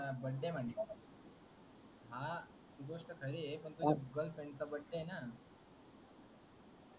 birthday मानत आहेत हा हि गोष्ट खरी आहे पण तुझ्या गर्लफ्रेंड चा बर्थडे आहे ना,